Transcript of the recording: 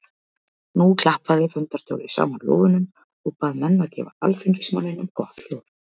Nú klappaði fundarstjóri saman lófunum og bað menn að gefa alþingismanninum gott hljóð.